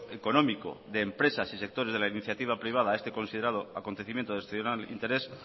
económico de empresas y sectores de la iniciativa privada a este considerado acontecimiento de excepcional interés